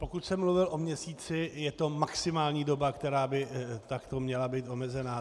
Pokud jsem mluvil o měsíci, je to maximální doba, která by takto měla být omezena.